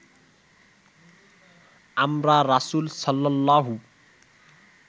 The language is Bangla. আমরা রাসূল সাল্লাল্লাহু